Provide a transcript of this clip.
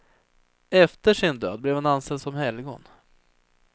Efter sin död blev han ansedd som helgon.